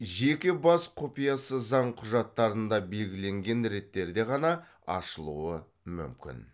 жеке бас құпиясы заң құжаттарында белгіленген реттерде ғана ашылуы мүмкін